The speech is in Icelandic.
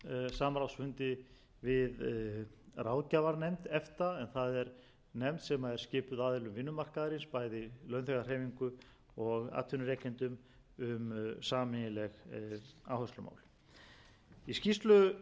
samráðsfundi við ráðgjafarnefnd efta en það er nefnd sem er skipuð aðilum vinnumarkaðarins bæði launþegahreyfingu og atvinnurekendum um sameiginleg áherslumál í skýrslu